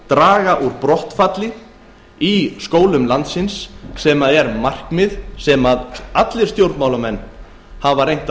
draga úr brottfalli úr skólum landsins sem er markmið sem stjórnmálamenn hafa reynt